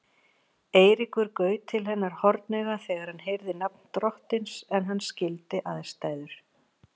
Eiríkur gaut til hennar hornauga þegar hann heyrði nafn drottins en hann skildi aðstæður.